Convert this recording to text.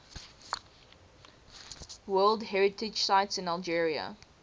world heritage sites in algeria